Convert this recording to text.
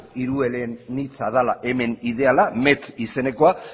hirueleanitza dala hemen ideala met izenekoa